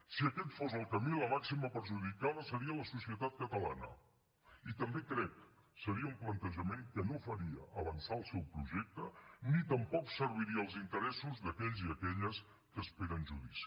si aquest fos el camí la màxima perjudicada seria la societat catalana i també crec seria un plantejament que no faria avançar el seu projecte ni tampoc serviria els interessos d’aquells i aquelles que esperen judici